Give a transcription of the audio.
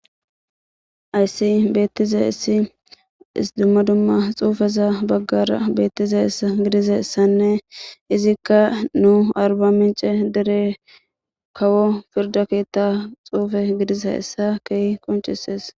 Hayssi beettiza issi isdummadumma xuufeza baggara beettize gidiza issanne izikka nu arba mince dere kawo firda keetta xuufe gidiza issa kei koncisees.